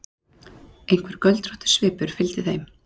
Einhver göldróttur svipur fylgdi þeim.